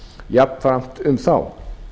jafnframt um þá